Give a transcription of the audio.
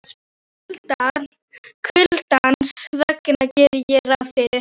Kuldans vegna geri ég ráð fyrir.